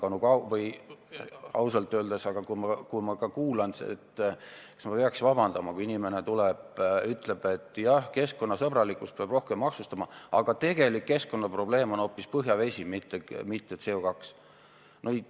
Aga ausalt öeldes, kui ma kuulan, siis kas ma peaks vabandama, kui inimene tuleb ja ütleb, et keskkonnasõbralikkuse huvides peab rohkem maksustama, aga tegelik keskkonnaprobleem on hoopis põhjavesi, mitte CO2.